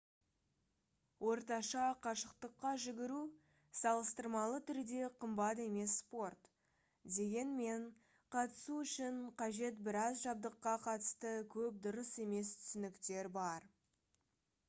орташа қашықтыққа жүгіру салыстырмалы түрде қымбат емес спорт дегенмен қатысу үшін қажет біраз жабдыққа қатысты көп дұрыс емес түсініктер бар